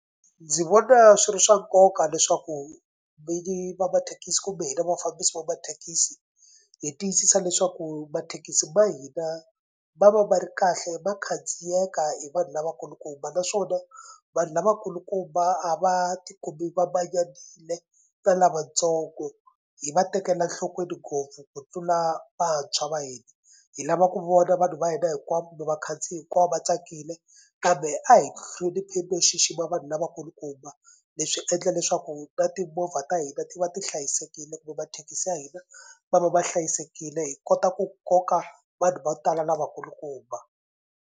Ndzi vona swi ri swa nkoka leswaku vinyi va mathekisi kumbe hina vafambisi va mathekisi hi tiyisisa leswaku mathekisi ma hina ma va ma ri kahle ma khandziyeka hi vanhu lavakulukumba naswona vanhu lavakulukumba a va tikumi va manyanile na lavatsongo hi va tekela nhlokweni ngopfu ku tlula vantshwa va hina. Hi lava ku vona vanhu va hina hinkwavo kumbe vakhandziyi hinkwavo va tsakile kambe a hi hlonipheni no xixima vanhu lavakulukumba. Leswi endla leswaku na timovha ta hina ti va ti hlayisekile kumbe mathekisi ya hina ma va ma hlayisekile hi kota ku koka vanhu vo tala lavakulukumba.